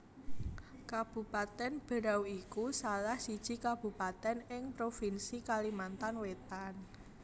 Kabupatèn Berau iku salah siji kabupatèn ing provinsi Kalimantan Wétan